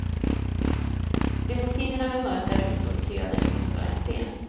Limousinerna med mörka rutor köade utanför entren.